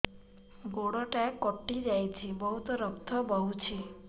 ଗୋଡ଼ଟା କଟି ଯାଇଛି ବହୁତ ରକ୍ତ ବହୁଛି